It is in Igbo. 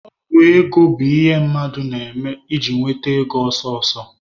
Ọgwụ ego bụ ihe mmadụ na-eme iji nweta ego ọsọsọ.